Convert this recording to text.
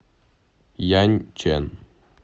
яньчэн